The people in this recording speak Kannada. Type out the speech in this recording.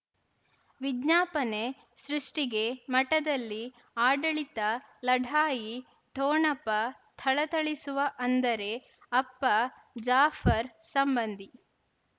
ವಿಜ್ಞಾಪನೆ ಸೃಷ್ಟಿಗೆ ಮಠದಲ್ಲಿ ಆಡಳಿತ ಲಢಾಯಿ ಠೊಣಪ ಥಳಥಳಿಸುವ ಅಂದರೆ ಅಪ್ಪ ಜಾಫರ್ ಸಂಬಂಧಿ